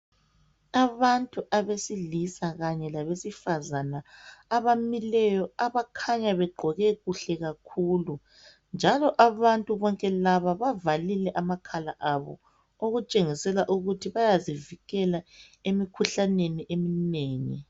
Abantu abasilisa kanye labesifazana abamileyo abakhanya begqoke kuhle kakhulu. Njalo abantu bonke laba bavalile amakhala bezivikele emikhuhlaneni eminengi.